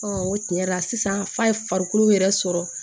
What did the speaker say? o tiɲɛ yɛrɛ la sisan fa ye farikolo yɛrɛ sɔrɔ